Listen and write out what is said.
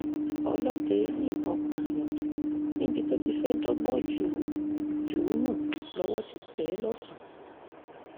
ọlọ́dẹ yìnbọn pààyàn níbi tó ti fẹ́ dọ́gbọ́n jù ú jù ú nù lọ́wọ́ ti tẹ̀ ẹ́ lọ́sàn-án